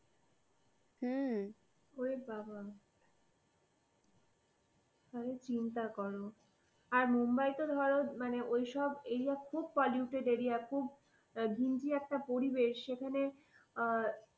হুম, ওরে বাবা তাহলে চিন্তা কর। আর মুম্বাই তো ধরো ওইসব area খুব polluted area খুব ঘিঞ্জি একটা পরিবেশ। সেখানে আ